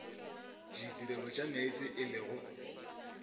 ditirelo tša meetse e lego